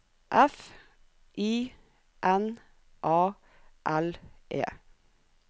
F I N A L E